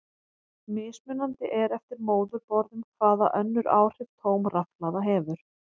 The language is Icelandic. Mismunandi er eftir móðurborðum hvaða önnur áhrif tóm rafhlaða hefur.